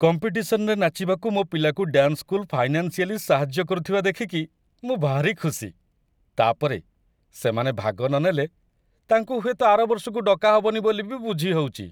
କମ୍ପିଟିସନ୍‌ରେ ନାଚିବାକୁ ମୋ ପିଲାକୁ ଡ୍ୟାନ୍ସ ସ୍କୁଲ ଫାଇନାନ୍‌ସିଆଲି ସାହାଯ୍ୟ କରୁଥିବା ଦେଖିକି ମୁଁ ଭାରି ଖୁସି, ତା' ପରେ, ସେମାନେ ଭାଗ ନନେଲେ ତାଙ୍କୁ ହୁଏତ ଆର ବର୍ଷକୁ ଡକା ହବନି ବୋଲି ବି ବୁଝି ହଉଚି ।